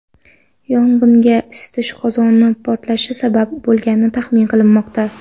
Yong‘inga isitish qozoni portlashi sabab bo‘lgani taxmin qilinmoqda.